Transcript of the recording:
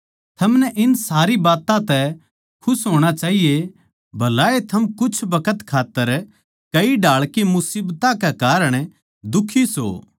थमनै इन सारी बात्तां तै खुश होणा चाहिए भलाए थम कुछ बखत खात्तर कई ढाळ की मुसीबतां के कारण दुखी सो